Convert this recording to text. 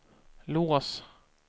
lås